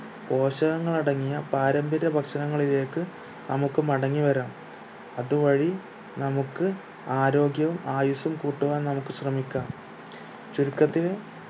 പോഷകങ്ങൾ അടങ്ങിയ പാരമ്പര്യ ഭക്ഷണങ്ങളിലേക്ക് നമുക്ക് മടങ്ങി വരാം അത് വഴി നമുക്ക് ആരോഗ്യവും ആയുസ്സും കൂട്ടുവാൻ നമുക്ക് ശ്രമിക്കാം ചുരുക്കത്തില്